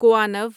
کوانو